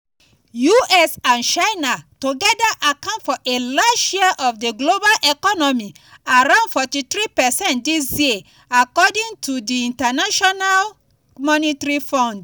us and china togeda account for a large share of di global economy around 43 percent dis year according to di international monetary fund.